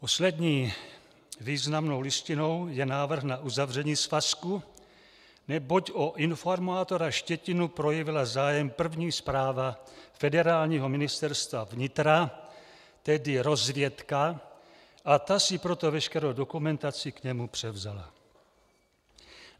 Poslední významnou listinou je návrh na uzavření svazku, neboť o informátora Štětinu projevila zájem První správa Federálního ministerstva vnitra, tedy rozvědka, a ta si proto veškerou dokumentaci k němu převzala.